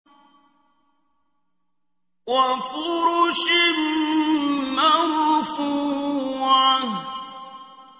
وَفُرُشٍ مَّرْفُوعَةٍ